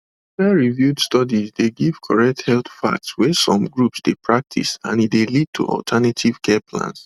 peerreviewed studies dey give correct health facts wey some groups dey practice and e dey lead to alternative care plans